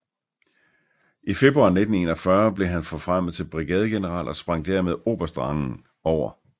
I februar 1941 blev han forfremmet til brigadegeneral og sprang dermed oberstrangen over